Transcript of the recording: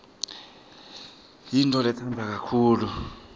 yintfoletsandwa kakhulu